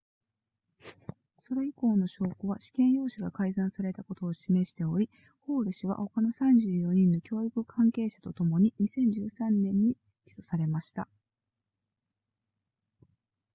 それ以降の証拠は試験用紙が改ざんされたことを示しておりホール氏は他の34人の教育関係者とともに2013年に起訴されました